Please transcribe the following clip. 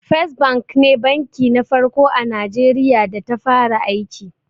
First Bank ne banki na farko a Najeriya da ta fara aiki.